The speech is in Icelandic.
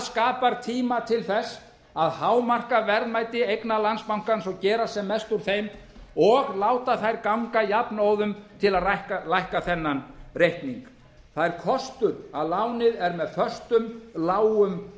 skapar tíma til að hámarka verðmæti eigna landsbankans og gera sem mest úr þeim og láta þær ganga jafnóðum til að lækka þennan reikning það er kostur að lánið er með föstum lágum